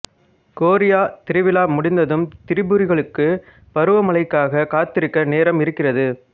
chorea திருவிழா முடிந்ததும் திரிபுரிகளுக்கு பருவமழைக்காக காத்திருக்க நேரம் இருக்கிறது